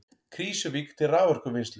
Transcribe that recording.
Krýsuvík til raforkuvinnslu.